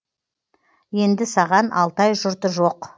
енді саған алтай жұрты жоқ